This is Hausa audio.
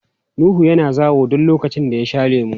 Nuhu yana zawo duk lokacin da ya sha lemu.